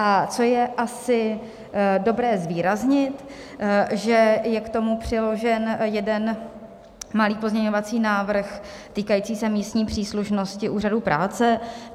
A co je asi dobré zvýraznit, že je k tomu přiložen jeden malý pozměňovací návrh týkající se místní příslušnosti úřadů práce.